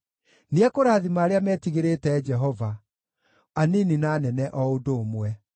nĩekũrathima arĩa metigĩrĩte Jehova, anini na anene o ũndũ ũmwe.